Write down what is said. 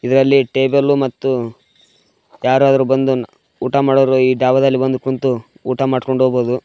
ಇದ್ರಲ್ಲಿ ಟೇಬಲ್ ಮತ್ತು ಯಾರಾದ್ರು ಬಂದು ನ ಊಟ ಮಾಡೋರು ಈ ಡಾಬಾದಲ್ಲಿ ಬಂದು ಕುಂತು ಊಟ ಮಾಡ್ಕೊಂಡ್ ಹೋಗ್ಬೋದು.